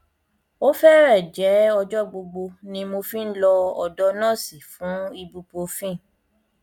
ó fẹrẹẹ jẹ ọjọ gbogbo ni mo fi ń lọ ọdọ nọọsì fún ibuprofen